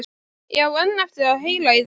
Ég á enn eftir að heyra í þeim.